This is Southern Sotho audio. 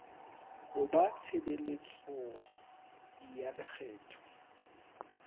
ho ba tshebeletso ya lekgetho